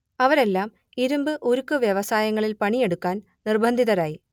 അവരെല്ലാം ഇരുമ്പ് ഉരുക്ക് വ്യവസായങ്ങളിൽ പണിയെടുക്കാൻ നിർബന്ധിതരായി